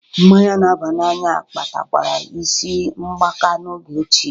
Mmanya n'aba n'anya kpatakwara isi mgbaka n'oge ochie